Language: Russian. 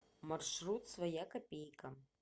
маршрут своя копейка